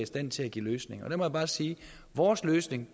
stand til at give løsninger og jeg må bare sige at vores løsning